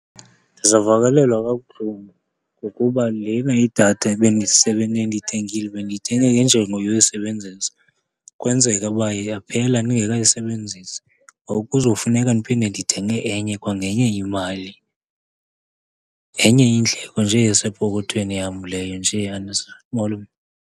Ndizawuvakalelwa kabuhlungu, ngokuba lena idatha ebendiyithengile bendiyithenge ngenjongo yoyisebenzisa. Kwenzeka uba yaphela ndingekayisebenzisi, ngoku kuzofuneka ndiphinde ndithenge enye kwangenye imali. Ngenye yeendleko nje esepokothweni yam leyo nje e-unnecessary .